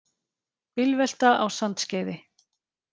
Bílvelta á Sandskeiði